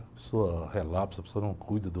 A pessoa relapsa, a pessoa não cuida do...